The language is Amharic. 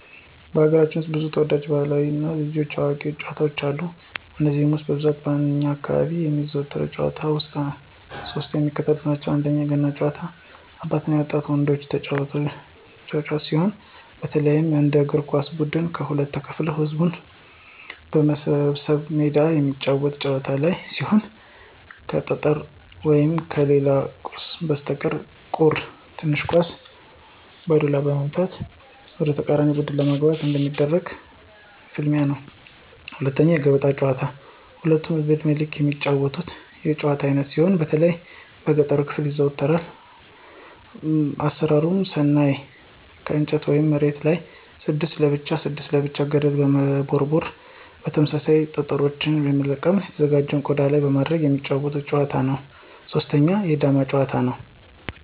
በሀገራችን ውስጥ ብዙ ተወዳጅ ባህላዊ የልጆች እና የአዋቂዎች ጨዋታዎች አሉ። ከነዚህም ውስጥ በብዛት በእኛ አካባቢ የሚዘወተሩ ጭዋታዎች ውስጥ ሶስቱ የሚከተሉትን ናቸው፦ 1=የገና ጨዋታ- የአባቶች እና የወጣት ወንዶች ጨዋታ ሲሆን፣ በተለይ እንደ እግር ኳስ ብድን ከሁለት ተከፋፍለው ህዝብ በተሰበሰበበት ሜዳ የሚጫወቱት የጨዋታ አይነት ሲሆን ከጠፍር ወይም ከሌላ ቁስ በተሰራች ቁር (ትንሽ ኳስ) በዱላ በመምታት(በመለጋት) ወደተቃራኒ ቡድን ለማግባት የሚደረግ ፍልሚያ ነው። 2=የገበጣ ጨዋታ ሁሉም የእድሜ ክልል የሚጫወቱት የጭዋታ አይነት ሲሆን በተለይ በገጠሩ ክፍል ይዘወተራል። አሰራሩን ስናይ ከእንጨት ወይም መሬቱ ላይ 6 ለብቻ 6 ለብቻ ገደልችን በመቦርቦር (በመቆፈር) ተመሳሳይ ጠጠሮችን በመልቀም በተዘጋጁ ቀዳዳዎች ላይ በማድረግ የሚጫወቱት የጨዋታ አይነት ነው። 3=የዳማ ጭዋታ; ነው።